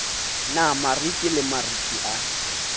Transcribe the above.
na mariki le mariki a